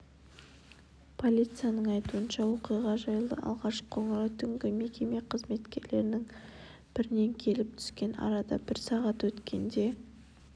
полицияның айтуынша оқиға жайлы алғашқы қоңырау түнгі мекеме қызметкерлерінің бірінен келіп түскен арада бір сағат өткенде